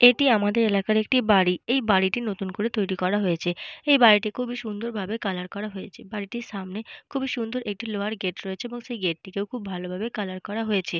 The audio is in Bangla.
এটি আমাদের এলাকার একটি বাড়ি। এই বাড়িটি নতুন করে তৈরি করা হয়েছে। এই বাড়িটি খুবই সুন্দর ভাবে কালার করা হয়েছে। বাড়িটির সামনে খুবই সুন্দর একটি লোহার গেট রয়েছে এবং সেই গেট - টিকেও খুব ভালো ভাবে কালার করা হয়েছে।